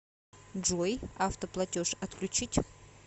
джой автоплатеж отключить